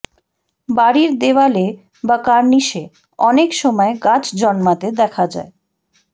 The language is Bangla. বাড়ির দেওয়ালে বা কার্নিশে অনেক সময় গাছ জন্মাতে দেখা যায়